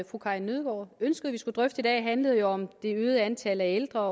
fru karin nødgaard ønskede vi skulle drøfte i dag handlede om det øgede antal ældre